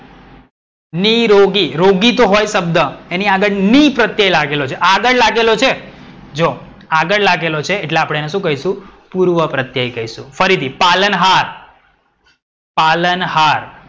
નીરોગી. રોગી હોય તો શબ્દ એની આગડ ની પ્રત્યય લાગેલો છે. આગડ લાગેલો છે જો, આગડ લાગેલો છે એટ્લે આપણે એને શું કહીશું પૂર્વપ્રત્યય કહીશું. ફરીથી પાલનહાર. પાલનહાર.